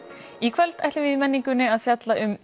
í kvöld ætlum við að fjalla um